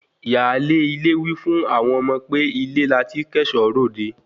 Ìyáálé ilé wí fún àwọn ọmọ pé ilé láti kó ẹ̀ṣọ́ ròde